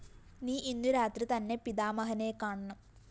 നീ ഇന്നു രാത്രി തന്നെ പിതാമഹനെക്കാണണം